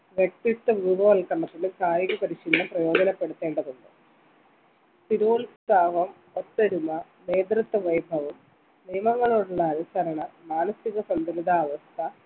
വ്യക്തിത്വം രൂപവല്കരണത്തിന് കായിക പരിശീലനം പ്രയോജനപ്പെടുത്തേണ്ടതുണ്ട് സ്ഥിരോത്സാഹം ഒത്തൊരുമ നേതൃത്വ വൈഭവം നിയമങ്ങളോടുള്ള അനുസരണ മാനസിക സന്തുലിതാവസ്ഥ